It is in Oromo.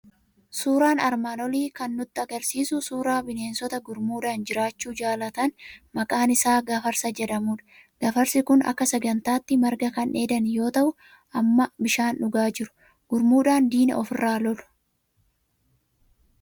Suuraan armaan olii kan nutti argisiisu suuraa bineensita gurmuudhaan jiraachuu jaalatan maqaan isaa gafarsa jedhamudha. Gafarsi kun akka sangaatti marga kan dheedan yoo ta'u, amma bishaan dhugaa jiru. Gurmuudhaan diina ofirraa lola.